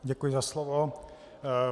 Děkuji za slovo.